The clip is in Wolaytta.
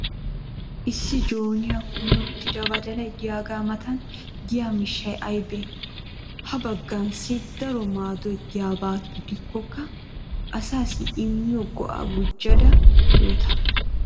issi jooniyaa kummi uttida badalay diyaaga matan diya miishshay aybee? ha bangaassi daro maaddoy diyaaba gidikkokka asaassi immiyo go'aa gujjada yoota?